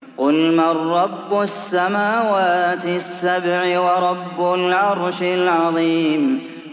قُلْ مَن رَّبُّ السَّمَاوَاتِ السَّبْعِ وَرَبُّ الْعَرْشِ الْعَظِيمِ